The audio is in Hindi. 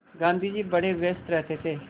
गाँधी जी बड़े व्यस्त रहते थे